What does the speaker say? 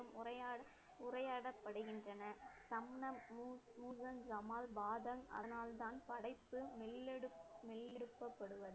உரையாட~ உரையாடப்படுகின்றனர். அதனால்தான் படைப்பு